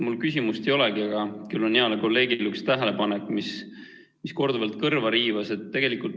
Mul küsimust ei olegi, küll aga on mul heale kolleegile üks tähelepanek, mis korduvalt kõrva riivas.